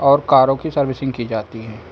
और कारों की सर्विसिंग की जाती है।